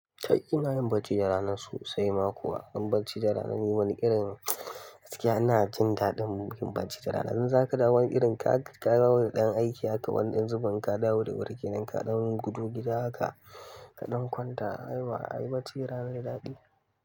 Kai ina yin barci da rana sosai ma kuwa. Don barci da rana ni wani irin gaskiya ina jin daɗin barci da rana. In zaka dawo wani irin ka ka dawo da ɗan aiki haka wani ƴan zubin inka da wuri wuri kenan inka ɗan gudo gida haka ka ɗan kwanta ai ba ai barci rana daɗi.